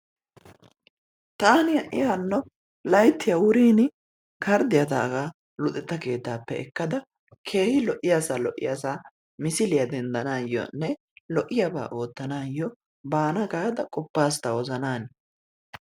Taani ha"i hanno layttiya wurin karddiya taagaa luxetta keettaappe ekkada dumma lo"iyasaa lo'iyasaa misiliya denddanaayonne lo"iyabaa oottanaayyo baana gaada qoppas ta wozanan.